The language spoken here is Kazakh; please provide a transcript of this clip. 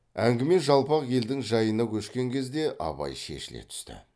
әңгіме жалпақ елдің жайына көшкен кезде абай шешіле түсті